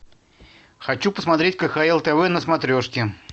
хочу посмотреть кхл тв на смотрешке